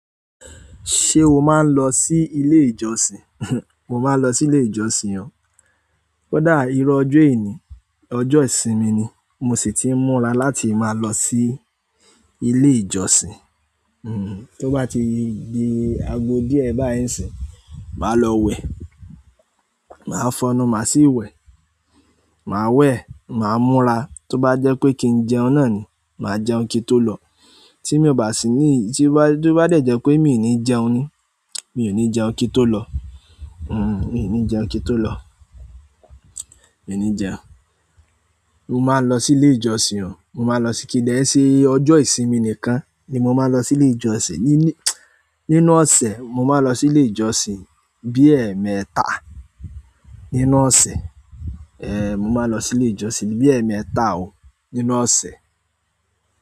Ṣé o máa ń lọ sí ilé ìjọsìn? Mo máa ń lọ sí ilé ìjọsìn o. Kódà irú ọjọ́ yìí ni, ọjọ́ ìsinmi ni, mo sì ti ń múra láti máa lọ sí ilé ìjọsìn. Hmm, tó bá ti di ago díẹ̀ báyìí sí, màá lọ wẹ̀. Màá fọnu, màá sí ìwẹ̀, màá wẹ̀, màá múra. Tó bá jẹ́ pé kí n jẹun náà ni, màá jẹun kí n tó lọ. Tí mo bà sí ní, tí ó bá jẹ́ pé míì ni jẹun ni, mi ò ní jẹun kí n tó lọ. Hmm, mi ò ní jẹun kí n tó lọ. Mi ò ní jẹun. Mo máa ń lọ sí ilé ìjọsìn o. Mo máa lọ sí-- kí n lè ṣe, ọjọ́ ìsinmi nìkan ni mo máa lọ sí ilé ìjọsìn. Ní, ní, nínú ọ̀sẹ̀, mo máa ń lọ sí ilé ìjọsìn bí ẹ́ẹ̀mẹta nínú ọ̀sẹ̀. Ehn, mo máa lọ sí ilé ìjọsìn bí ẹ́ẹ̀mẹta o nínú ọ̀sẹ̀.